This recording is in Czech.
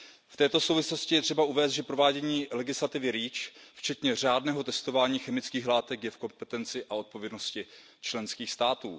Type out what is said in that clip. V této souvislosti je třeba uvést, že provádění legislativy REACH včetně řádného testování chemických látek je v kompetenci a povinnosti členských států.